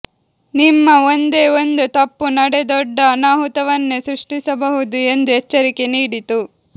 ನಿಮ್ಮ ಒಂದೇ ಒಂದು ತಪ್ಪು ನಡೆ ದೊಡ್ಡ ಅನಾಹುತವನ್ನೇ ಸೃಷ್ಟಿಸಬಹುದು ಎಂದು ಎಚ್ಚರಿಕೆ ನೀಡಿತು